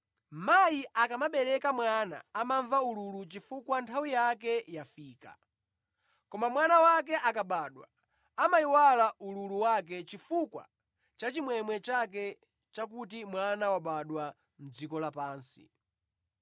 Mayi akamabereka mwana amamva ululu chifukwa nthawi yake yafika; koma mwana wake akabadwa amayiwala ululu wake chifukwa cha chimwemwe chake chakuti mwana wabadwa mʼdziko lapansi.